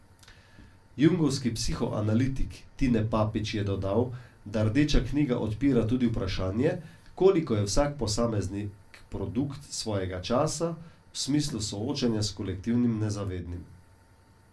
Jungovski psihoanalitik Tine Papič je dodal, da Rdeča knjiga odpira tudi vprašanje, koliko je vsak posameznik produkt svojega časa, v smislu soočanja s kolektivnim nezavednim.